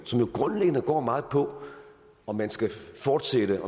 som jo grundlæggende går meget på om man skal fortsætte